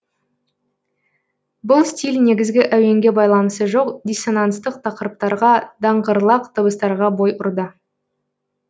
бұл стиль негізгі әуенге байланысы жоқ диссонанстық тақырыптарға даңғырлақ дыбыстарға бой ұрды